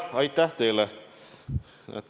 Aitäh teile!